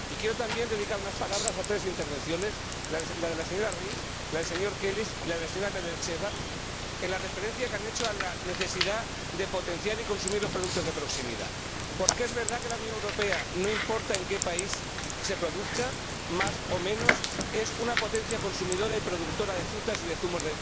Y quiero también dedicar unas palabras a tres intervenciones, la de la señora Ries, la del señor Kelly y la de la señora Nedelcheva, en la referencia que han hecho a la necesidad de potenciar y consumir los productos de proximidad, porque es verdad que la Unión Europea —no importa en qué país se produzca, más o menos— es una potencia consumidora y productora de frutas y de zumos